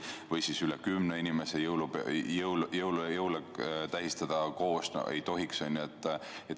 Ja üle kümne inimese jõule koos tähistada ei tohi.